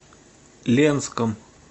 ленском